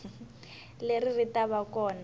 leri ri ta va kona